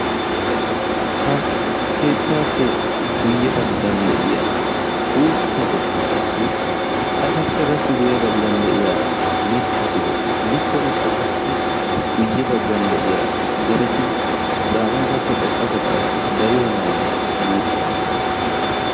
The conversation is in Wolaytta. Ha keettaappe guyye baggan de"iya uuttatuppe qassi etappe guyye baggaara de"iya mittati doosona. Mittatuppe qassi guyye baggan de"iya dereti daamootappe xoqqatettan dariyonaayye guuxxiyonaa?